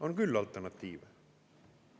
On küll alternatiive.